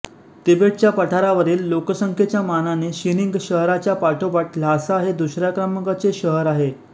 तिबेटच्या पठारावरील लोकसंख्येच्या मानाने शिनिंग शहराच्या पाठोपाठ ल्हासा हे दुसऱ्या क्रमांकाचे शहर आहे